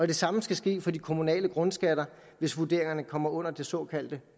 det samme skal ske for de kommunale grundskatter hvis vurderingerne kommer under det såkaldte